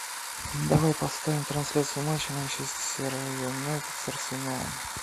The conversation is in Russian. давай поставим трансляцию матча манчестер юнайтед с арсеналом